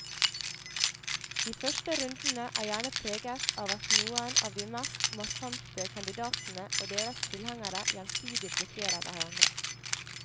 De første rundene er gjerne preget av at noen av de mest markante kandidatene og deres tilhengere gjensidig blokkerer hverandre.